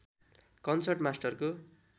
concert मास्टरको